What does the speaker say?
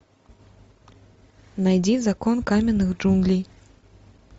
найди закон каменных джунглей